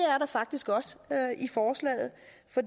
faktisk også